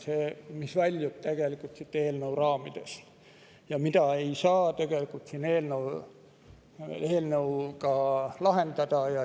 See väljub eelnõu raamidest ja seda ei saa eelnõuga lahendada.